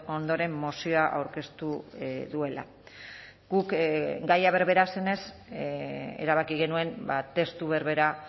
ondoren mozioa aurkeztu duela guk gaia berbera zenez erabaki genuen testu berbera